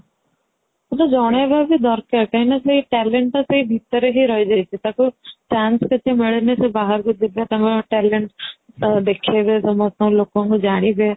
ଜଣେଇବା ବି ଦରକାର କାହିଁକି ନା ସେ talent ଟା ସେଇ ଭିତରେ ହି ରହିଯାଇଛି ଟାକୁ chance ବି ମିଲୁନି ସେ ବାହାରକୁ ଯିବେ ତାଙ୍କ talent ଅ ଦେଖେଇବେ ସମସ୍ତ ଲୋକ ଜାଣିବେ